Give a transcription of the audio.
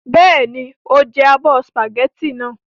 Bẹ́ẹ̀ni, o jẹ abọ́ sìpàgẹ́tì náà.